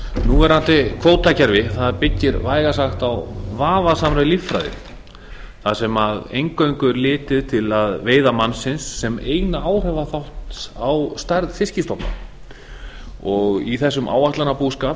nú verandi kvótakerfi byggist vægast sagt á vafasamri líffræði þar sem eingöngu er litið til veiða mannsins sem eina áhrifaþátt á stærð fiskstofna í þessum áætlunarbúskap